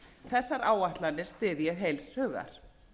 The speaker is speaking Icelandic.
þessar áætlanir styð ég heils hugar